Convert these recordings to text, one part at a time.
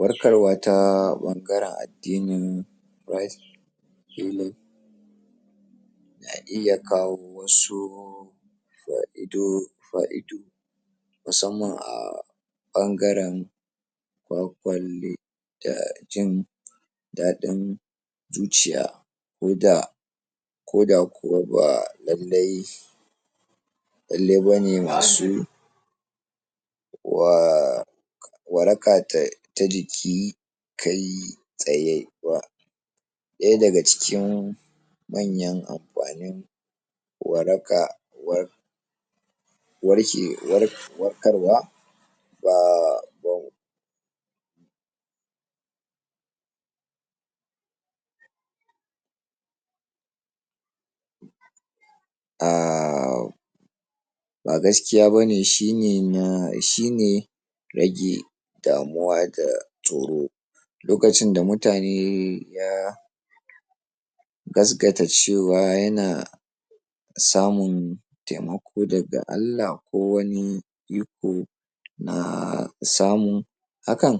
warkarwa ta ɓangaren addinin christ na iya kawo wasu fa'ido fa'ido musamman a ɓangaren da jin daɗin zuciya koda koda kuwa ba lallai lallai bane masu wa waraka ta jiki kai tsaye ba ɗaya daga cikin manyan amfanin waraka war warke warkar wa [ahhh] ba gaskiya bane shine na shine rage damuwa da tsoro lokacin da mutane ya gasgata cewa yana samun taimako daga Allah ko wani iko na samun hakan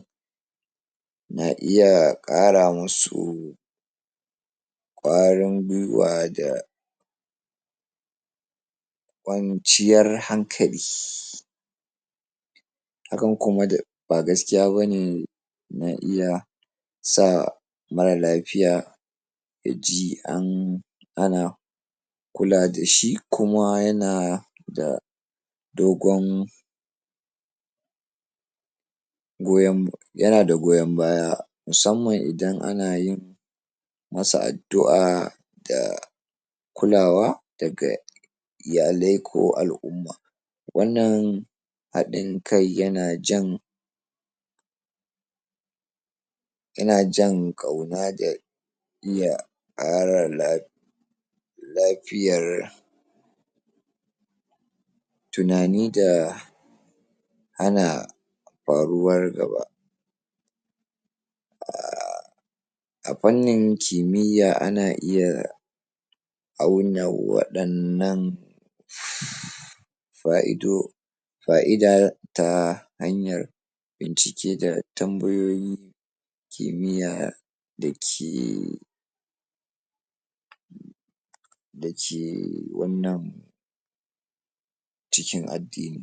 na iya ƙara musu ƙwarin gwiwa da kwanciyar hankali. hakan kuma da ba gaskiya bane na iya sa mara lafiya yaji an ana kula dashi kuma yana da dogon goyon yana da goyon baya musamman idan anayin masu addu'a da kulawa daga iyalai ko al'umma wannan haɗin kai yana jan yana jan ƙauna da iya ƙara lafiya lafiyar tunani da hana faruwar gaba a fannin kimiyya ana iya auna waɗannan fa'ido fa'ida ta hanyar bincike da tambayoyin kimiyya da ke da ke wannan cikin addini.